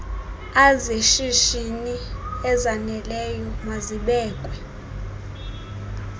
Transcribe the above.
azeshishini ezaneleyo mazibekwe